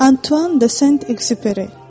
Antuan de Sent Ekzüperi.